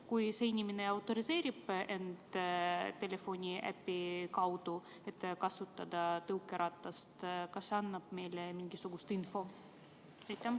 Kui inimene identifitseerib end telefoniäpi kaudu, et kasutada tõukeratast, siis kas see annab meile mingisugust infot?